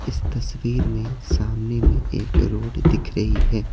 इस तस्वीर में सामने में एक रोड दिख रही है।